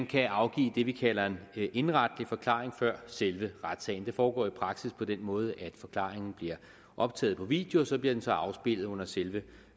kan afgives det vi kalder en indenretlig forklaring før selve retssagen det foregår i praksis på den måde at forklaringen bliver optaget på video og så bliver den afspillet under selve